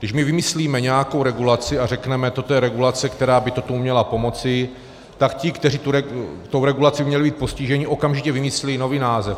Když my vymyslíme nějakou regulaci a řekneme "toto je regulace, která by tomu měla pomoci", tak ti, kteří tou regulací měli být postiženi, okamžitě vymyslí nový název.